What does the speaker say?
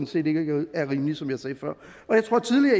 set ikke er rimeligt som jeg sagde før